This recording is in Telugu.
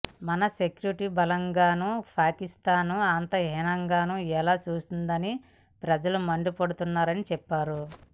మన సెక్యూరిటీ బలగాలను పాకిస్తాన్ అంత హీనంగా ఎలా చూస్తుందని ప్రజలు మండిపడుతున్నారని చెప్పారు